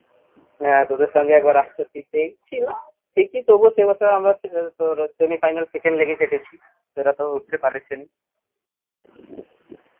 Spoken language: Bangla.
হ্যাঁ তোদের সঙ্গে একবার আটষট্টি তেই ছিল সেকি তবুও সেবছর আমরা তোর semi final second এ গেছি তোরা তো উঠতে পরোসও নি